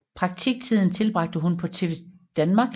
Praktiktiden tilbragte hun på TV Danmark